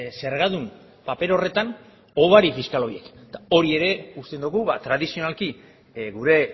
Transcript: zergadun paper horretan hobari fiskala horiek eta hori ere uste dugu tradizionalki gure